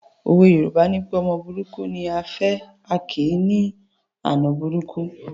Òwe Yorùbá nipé ọmọ burúkú ni à á fẹ̀, a kì í ní àna burúkú